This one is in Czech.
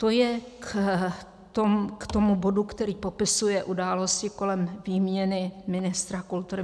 To je k tomu bodu, který popisuje události kolem výměny ministra kultury.